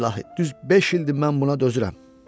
İlahi, düz beş ildir mən buna dözürəm.